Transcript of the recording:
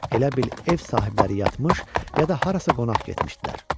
Elə bil ev sahibləri yatmış, ya da harasa qonaq getmişdilər.